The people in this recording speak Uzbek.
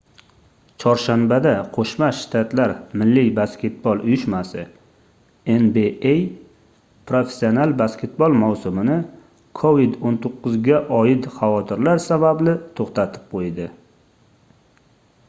chorshanbada qo'shma shtatlar milliy basketbol uyushmasi nba professional basketbol mavsumini covid-19 ga oid xavotirlar sababli to'xtatib qo'ydi